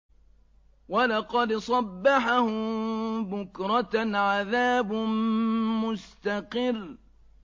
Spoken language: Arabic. وَلَقَدْ صَبَّحَهُم بُكْرَةً عَذَابٌ مُّسْتَقِرٌّ